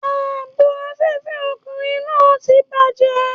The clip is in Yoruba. Ààbò afẹ́fẹ́ ọkùnrin náà ti bàjẹ́.